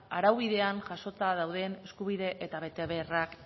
araubidean jasota dauden eskubide eta betebeharrak